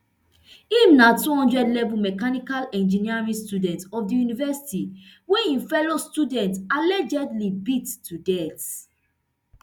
im na two hundred level mechanical engineering student of di university wey im fellow student allegedly beat to death